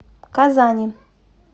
казани